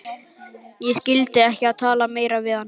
Ég skyldi ekki tala meira við hann.